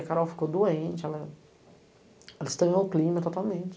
A Carol ficou doente, ela estranhou o clima totalmente.